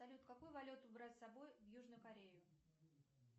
салют какую валюту брать с собой в южную корею